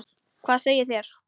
Hvað segið þér?